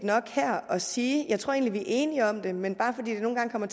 her at sige jeg tror egentlig vi er enige om det men nogle gange kommer